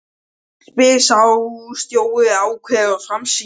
spyr sá stóri jákvæður og framsýnn.